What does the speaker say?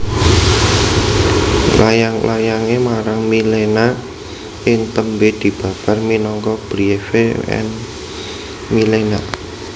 Layang layangé marang Milena ing tembé dibabar minangka Briefe an Milena